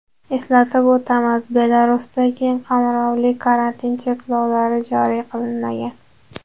Eslatib o‘tamiz, Belarusda keng qamrovli karantin choralari joriy qilinmagan.